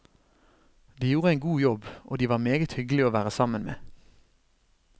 De gjorde en god jobb, og de var meget hyggelige å være sammen med.